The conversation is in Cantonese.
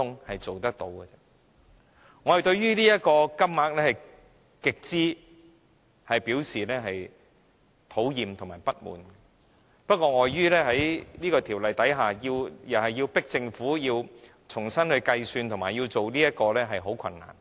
我們對這個金額表示極端討厭和不滿，不過，礙於在這《條例》下，要迫使政府重新計算和考慮，將會十分困難。